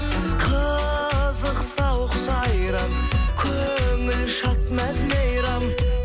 қызық сауық сайран көңіл шат мәз мейрам